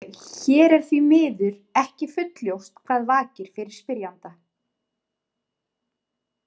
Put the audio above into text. Hér er því miður ekki fullljóst hvað vakir fyrir spyrjanda.